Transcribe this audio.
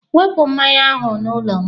Wepụ mmanya ahụ n'ụlọ m!